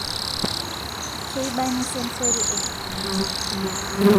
keibani sensory eneyia esarngab